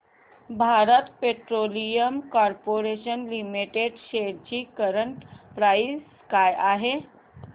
Bharat petroleum corporation limited shares ची current price काय आहे